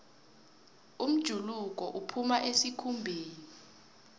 umjuluko uphuma esikhumbeni